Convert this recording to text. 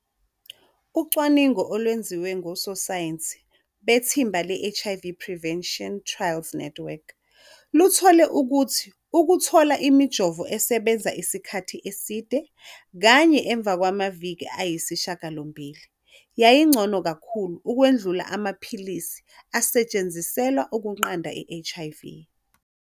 Ucwaningo, olwenziwe ngososayensi bethimba leHIV Prevention Trials Network, luthole ukuthi ukuthola imijovo esebenza isikhathi eside kanye emva kwamaviki ayisishiyagalombili yayingcono kakhulu ukwedlula amaphilisi asetshenziselwa ukunqanda i-HIV.